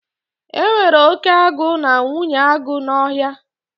E nwere oke agụ na nwunye agụ n'Ọhịa